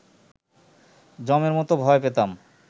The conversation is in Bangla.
যমের মতো ভয় পেতাম